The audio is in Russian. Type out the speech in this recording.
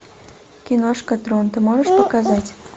киношка трон ты можешь показать